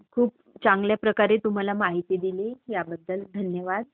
खूप चांगल्या प्रकारे तू मला माहिती दिली ह्याबद्दल धन्यवाद.